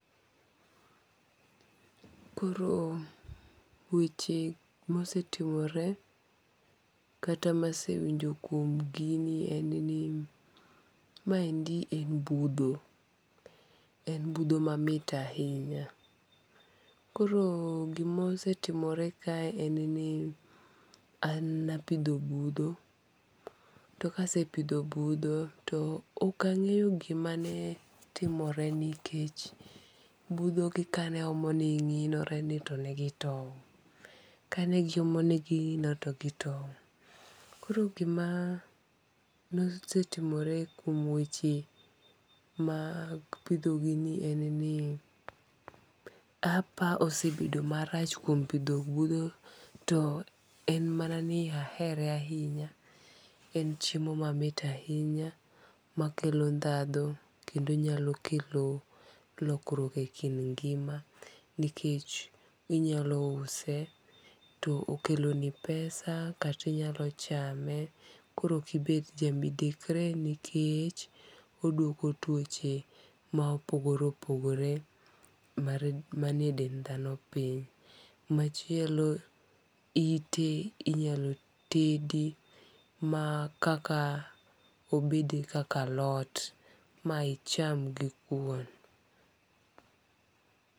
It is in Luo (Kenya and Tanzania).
Koro weche ma osetimore kata ma asewinjo kuom gini en ni ma endi en budho ma mit ahinya. Koro gi ma osetimore kae en ni an ne apidho budho to ka asepidho budho to ok ang'eyo gi ma ne timore ni kech budho gi ka ne omo ng'inore ni to gi towo, ka ne gi omo ni gi ng'inore to gi towo. Koro gi ma ne osetiomore kuom weche mag pidho gini en ni apa osebedo marach kuom pidho budho to en mana ni ahere ahinya, en chiemo ma mit ahinya ma kelo dhandho kendo nyalo kelo lokruok e kind ngima nikech inyalo use to okelo ni pesa kaito inyalo chame koro ki bet ja midekre nikech odwoko twoche ma opogore opogore ma nnitie e dend dhano piny. Machielo ite inyalo tedi ma kaka obedi kaka lot ma icham gi kwon.